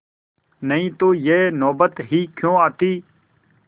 नहीं तो यह नौबत ही क्यों आती